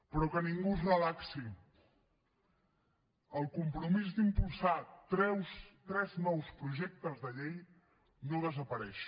però que ningú es relaxi el compromís d’impulsar tres nous projectes de llei no desapareix